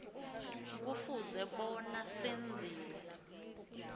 kufuze bona senziwe